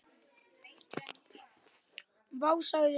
Vá, sagði hún.